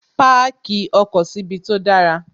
Páàkì ọkọ̀ síbi tó dára